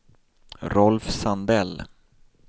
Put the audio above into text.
Rolf Sandell